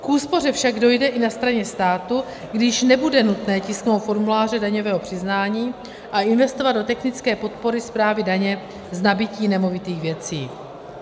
K úspoře však dojde i na straně státu, když nebude nutné tisknout formuláře daňového přiznání a investovat do technické podpory správy daně z nabytí nemovitých věcí.